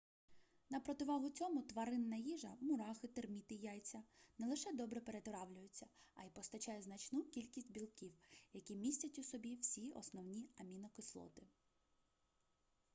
на противагу цьому тваринна їжа мурахи терміти яйця не лише добре перетравлюється а й постачає значну кількість білків які містять у собі всі основні амінокислоти